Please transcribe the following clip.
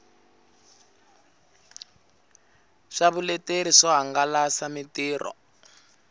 swa vuleteri swo hangalasa mitirho